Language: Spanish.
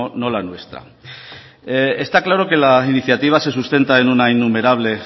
no la nuestra está claro que la iniciativa se sustenta en una innumerable